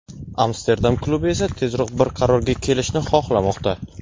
Amsterdam klubi esa tezroq bir qarorga kelishni xohlamoqda.